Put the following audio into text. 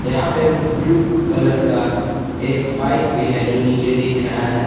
यहां पे blue colour का एक बाइक भी है जो नीचे दिख रहा है।